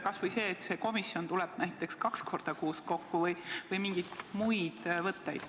Kas või võimalus, et see komisjon tuleb näiteks kaks korda kuus kokku, või mingid muud võimalused.